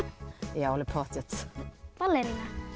já alveg pottþétt ballerína